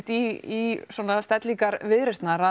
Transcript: í stellingar Viðreisnar að